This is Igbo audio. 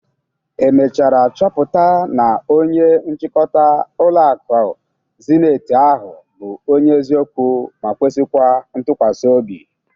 E mechara chọpụta na onye nchịkọta ụlọ akụ Zeniti ahụ bụ onye eziokwu ma kwesikwa ntụkwasịobi?